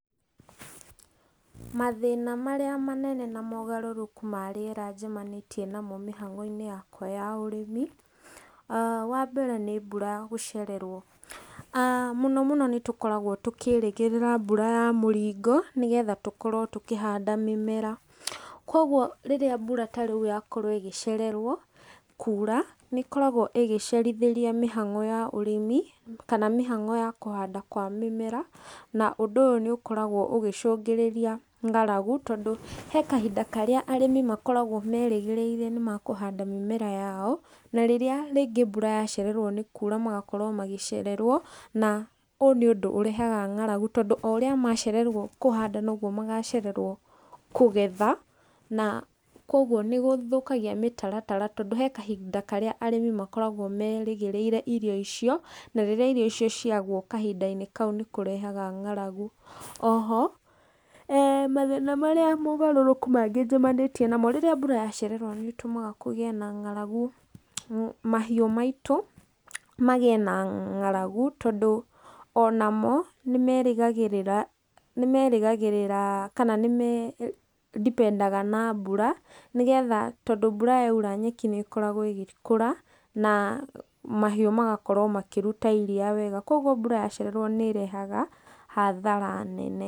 Mathĩna marĩa manene na mogarũrũku ma rĩera njemanĩtie namo mĩhang'o-inĩ yakwa ya ũrĩmi, wambere nĩ mbura gũcererwo. Mũno mũno nĩ tũkoragwo tũkĩĩrĩgĩrĩra mbura ya mũringo nĩgetha tũkorwo tũkĩhanda mĩmera, koguo rĩrĩa mbura ta rĩu yakorwo ĩgĩcererwo kuura, nĩ ĩkoragwo ĩgĩcerithĩria mĩhang'o ya ũrĩmi kana mĩhang'o ya kũhanda kwa mĩmera, na ũndũ ũyũ nĩ ũkoragwo ũgĩcũngĩrĩria ng'aragu tondũ he kahinda karĩa arĩmi makoragwo merĩgĩrĩire nĩ makũhanda mĩmera yao, na rĩrĩa rĩngĩ mbura yacererwo nĩ kuura magakorwo magĩcererwo, na ũyũ nĩ ũndũ ũrehaga nga'aragu tondũ oũrĩa macererwo kũhanda noguo magacererwo kũgetha, na koguo nĩ gũthũkagia mĩtaratara tondũ he kahinda karĩa arĩmi makoragwo merĩgĩrĩire irio icio, na rĩrĩa irio icio ciagwo kahinda-inĩ kau nĩ kũrehaga ng'aragu. Oho,[eeh] mathĩna marĩa mogarũrũku mangĩ njemanĩtie namo rĩrĩa mbura yacererwo nĩ ĩtũmaga kũgĩe na ng'aragu, mahiũ maitũ magĩe na ng'aragu tondũ onamo nĩ merĩgagĩrĩra nĩ merĩgagĩrĩra kana nĩmandipendaga na mbura, nĩgetha tondũ mbura yaura nyeki nĩ ĩkoragwo ĩgĩkũra na mahiũ magakorwo makĩruta iriia wega. Koguo mbura yacererwo nĩ ĩrehaga hathara nene.